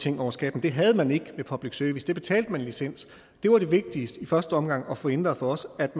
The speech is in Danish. ting over skatten det havde man ikke med public service der betalte man licens der var det vigtigste i første omgang at få ændret for os at